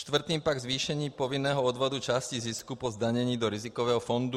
Čtvrtým pak zvýšení povinného odvodu části zisku po zdanění do rizikového fondu.